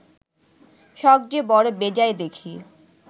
সখ যে বড় বেজায় দেখি